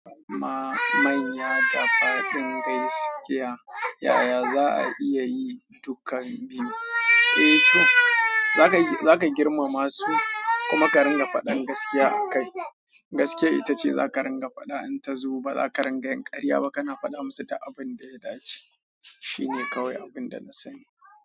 Amma manya da faɗin gaskiya, yaya za a iya yi dukan biyu? Eh to, za ka, za ka girmama su kuma ka ringa faɗin gaskiya a kai. Gaskiya ita ce za ka ringa faɗa, in ta zo ba za ka ringa yin ƙarya ba kana faɗa musu duk abin da ya dace. Shi ne kawai abin da na sani.